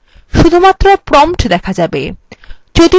শুধুমাত্র prompt দেখা যাবে